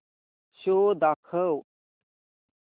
show दाखव